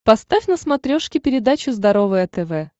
поставь на смотрешке передачу здоровое тв